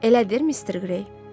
Elə deyil, Mister Gray?